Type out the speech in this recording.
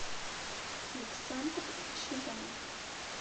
александр чабан